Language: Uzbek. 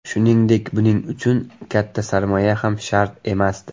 Shuningdek, buning uchun katta sarmoya ham shart emasdi.